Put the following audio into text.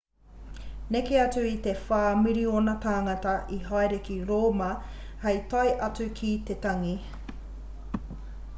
neke atu i te whā miriona tāngata i haere ki rōma hei tae atu ki te tangi